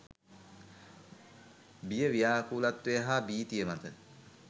බිය ව්‍යාකූලත්වය හා භීතිය මත